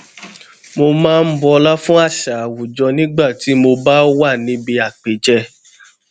mo máa ń bọlá fún àṣà àwùjọ nígbà tí mo bá wà níbi àpèjẹ